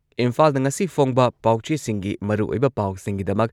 ꯏꯝꯐꯥꯜꯗ ꯉꯁꯤ ꯐꯣꯡꯕ ꯄꯥꯎꯆꯦꯁꯤꯡꯒꯤ ꯃꯔꯨꯑꯣꯏꯕ ꯄꯥꯎꯁꯤꯡꯒꯤꯗꯃꯛ